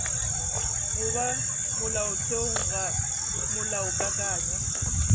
go ba molaotheong ga molaokakanywa